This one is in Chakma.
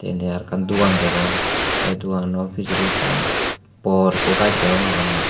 indi araw ekkan dogan degong te doganano pijedi ekkan bor ekko gaj degong araw mui.